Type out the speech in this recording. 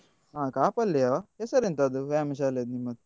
ಹಾ ಕಾಪು ಅಲ್ಲಿಯಾ ಹೆಸರೆಂತ ಅದು ವ್ಯಾಯಾಮ ಶಾಲೆಯದ್ದು ನಿಮ್ಮದು?